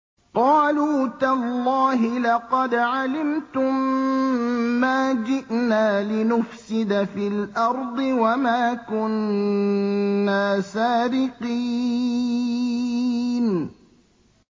قَالُوا تَاللَّهِ لَقَدْ عَلِمْتُم مَّا جِئْنَا لِنُفْسِدَ فِي الْأَرْضِ وَمَا كُنَّا سَارِقِينَ